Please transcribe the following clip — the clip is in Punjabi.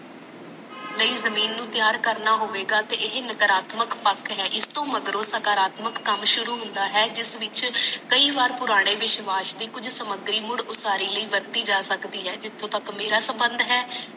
ਨਈ ਜਮੀਨ ਨੂੰ ਤਿਆਰ ਕਰਨਾ ਹੋਵੇਗਾ ਤੇ ਇਹ ਨਾਕਰਾਤਮਕ ਪੱਥਰ ਹੈ ਇਸਤੋਂ ਮਗਰੋਂ ਸਕਰਾਤਮਕ ਕੱਮ ਸ਼ੁਰੂ ਹੁੰਦਾ ਹੈ ਜਿਸ ਵਿੱਚ ਕਈ ਬਾਰ ਪੁਰਾਣੇ ਵਿਸ਼ਵਾਸ ਦੀ ਕੁਛ ਸਮਗਰੀ ਮੁੜ ਉਸਾਰੀ ਲਈ ਵਰਤੀ ਜਾ ਸਕਦੀ ਹੈ ਜਿਥੋਂ ਤਕ ਮੇਰਾ ਸਮਬੰਦ ਹੈ